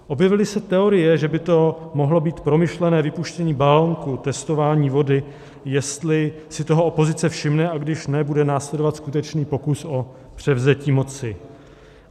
Objevily se teorie, že by to mohlo být promyšlené vypuštění balonku, testování vody, jestli si toho opozice všimne a když ne, bude následovat skutečný pokus o převzetí moci.